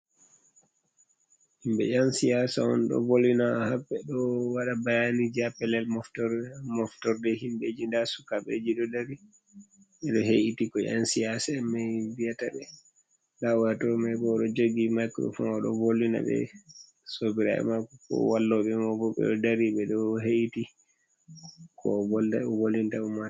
Himɓe ƴan siyaasa'on ɗo vollina ha ɓeɗo waɗa bayaaniiji haa pellel moftor moftorɗee himɓeji nda Suukaɓeji ɗo darii. Ɓeɗo heeɗiti ko ƴan siyaasamai viyaataɓee. Nda oyatoomaibo oɗo joogi maikurofoon oɗo vollinaɓe, Sobiraɓe maako ko walloɓe mobo ɓeɗo dari ɓeɗo heeɗit, Ko ovolda ovolinta umatoore.